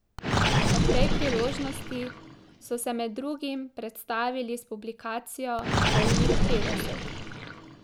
Ob tej priložnosti so se med drugim predstavili s publikacijo Polnih petdeset.